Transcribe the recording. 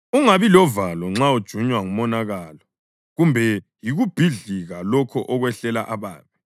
Ungabi lovalo nxa ujunywa ngumonakalo kumbe yikubhidlika lokho okwehlela ababi,